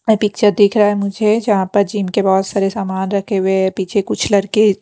एैं picture दिख रहा है मुझे जहाँ पर जिम के बहुत सारे सामान रखे हुए हैं पीछे कुछ लड़के --